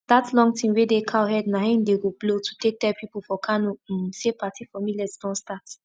dat long thing wey dey cow head na im dey go blow to take tell pipo for kano um say party for millet don start